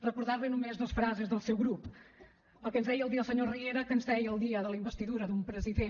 recordar li només dos frases del seu grup el que ens deia un dia el senyor riera que ens deia el dia de la investidura d’un president